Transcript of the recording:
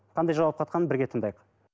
қандай жауап қатқанын бірге тыңдайық